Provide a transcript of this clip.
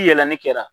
Yɛlɛli kɛra